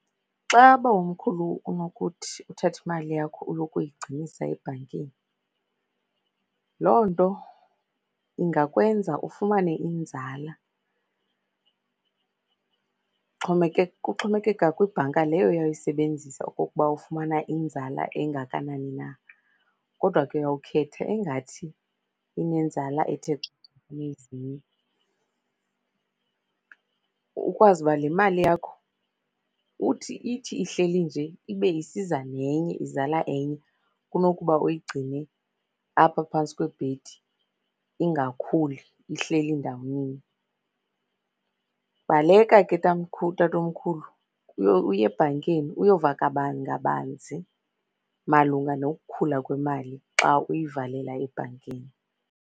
Xa bawomkhulu unokuthi uthathe imali yakho uyokuyigcinisa ebhankini, loo nto ingakwenza ufumane inzala. Kuxhomekeka kwibhanki leyo oyawuyisebenzisa okokuba ufumana inzala engakanani na, kodwa ke uyowukhetha engathi inenzala ethe xhaxhe kunezinye. Ukwazi uba le mali yakho uthi ithi ihleli nje ibe isiza nenye, izala enye kunokuba uyigcine apha phantsi kwebhedi ingakhuli, ihleli ndawoninye. Baleka ke tatomkhulu uye ebhankini uyova ngabaninzi malunga nokukhula kwemali xa uyivalela ebhankini.